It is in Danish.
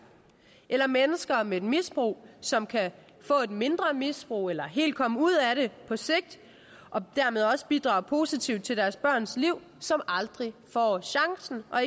eller mennesker med misbrug som kan få et mindre misbrug eller helt komme ud af det på sigt og dermed også bidrage positivt til deres børns liv som aldrig får chancen og